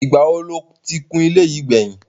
Ìgbà wo lo ti kun ilé yìí gbẹ̀yìn?